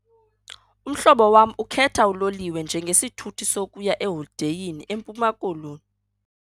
Umhlobo wam ukhetha uloliwe njengesithuthi sokuya eholideyini eMpuma Koloni.